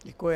Děkuji.